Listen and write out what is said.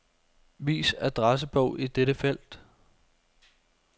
Vis adressebog i dette felt.